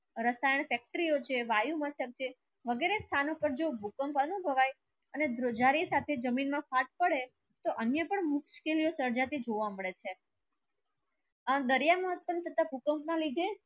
અત્યારે ફેક્ટરિયો છે વાયુ મસ્તક છે વગેરે સ્થાનક પર જો ભૂકંપ અનુભવ્યે અને ધ્રુજાદી સાથે જો જમીન મા ફાટ પડે તો અન્ય પણ મુસ્કિલ નુ સરજતી જોવા મડે છે આ દરીયા ભૂકંપ ના લિધે